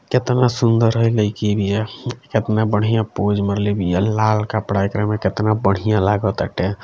केतना सुंदर हई लइकी बिया केतना बढ़िया पोज़ मरले बिया लाल कपड़ा एकरा में कितना बढ़िया लगताटे।